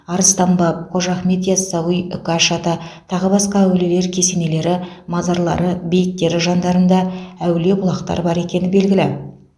арыстан баб қожа ахмет ясауи үкаш ата тағы басқа әулиелер кесенелері мазарлары бейіттері жандарында әулие бұлақтар бар екені белгілі